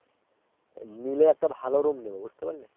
নিলে একটা ভালো Room নেব বুঝতে পারলে